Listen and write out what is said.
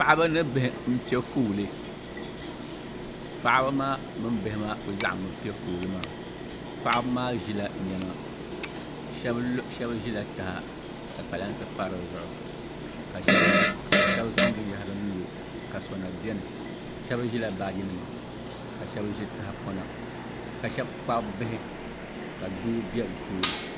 paɣaba ni bihi n piɛ fooli paɣaba maa mini bihi maa ku laɣammi piɛ fooli maa paɣaba maa ʒila niɛma shab ʒila taha ka kpalansi pa dizuɣu ka shab zaŋ binyahari lo ka sona biɛni shab ʒila tahapona ka shab kpabi bihi ka doo bɛ bi tooni